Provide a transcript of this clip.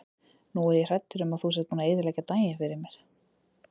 Nú er ég hræddur um að þú sért búinn að eyðileggja daginn fyrir mér.